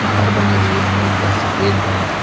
घर बने हुए हैं एक घर सफेद रंग--